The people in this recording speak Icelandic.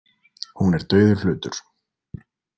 Hún er dauður hlutur.